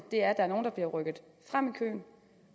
der er nogle der bliver rykket frem i køen